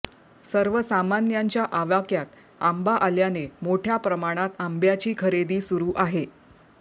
सर्वसामान्यांच्या आवाक्मयात आंबा आल्याने मोठय़ा प्रमाणात आंब्याची खरेदी सुरू आहे